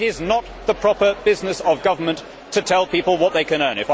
It is not the proper business of government to tell people what they can earn.